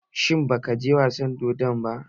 Shin ba ka je wasan dodon ba?